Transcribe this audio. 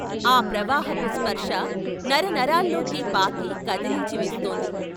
ఆ ప్రవాహపు స్పర్శ నరనరాల్లోకి పాకి కదిలించి వేస్తోంది.